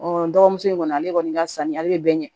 dɔgɔmuso in kɔni ale kɔni ka sanni ale bɛ bɛɛ ɲɛ